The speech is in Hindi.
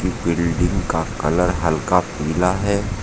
बिल्डिंग का कलर हल्का पीला है।